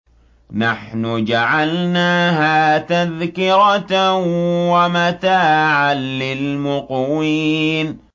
نَحْنُ جَعَلْنَاهَا تَذْكِرَةً وَمَتَاعًا لِّلْمُقْوِينَ